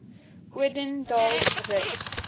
odendaalsrus